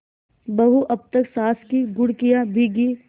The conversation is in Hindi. बहू अब तक सास की घुड़कियॉँ भीगी